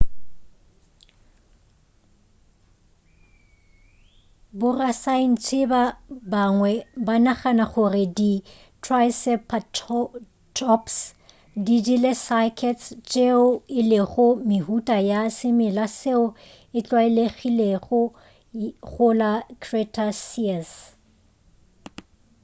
borasaentsheba bangwe banagana gore di triceratops di jele cycads tšeo e lego mehuta ya semela seo e tlwalegilego go la cretaceous